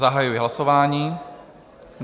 Zahajuji hlasování.